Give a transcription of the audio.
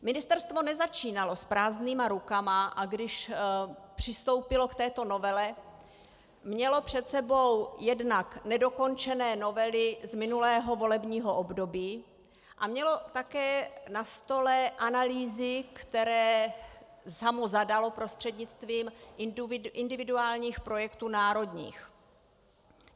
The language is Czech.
Ministerstvo nezačínalo s prázdnýma rukama, a když přistoupilo k této novele, mělo před sebou jednak nedokončené novely z minulého volebního období a mělo také na stole analýzy, které samo zadalo prostřednictvím individuálních projektů národních.